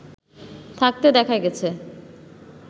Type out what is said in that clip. থাকতে দেখা গেছে